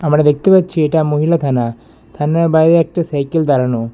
আমরা দেখতে পাচ্ছি এটা মহিলা থানা থানার বাইরে একটা সাইকেল দাঁড়ানো।